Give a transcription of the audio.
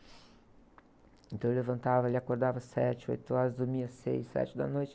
Então ele levantava, ele acordava às sete, oito horas, dormia às seis, sete da noite.